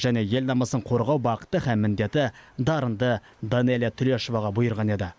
және ел намысын қорғау бақыты һәм міндеті дарынды данелия төлешоваға бұйырған еді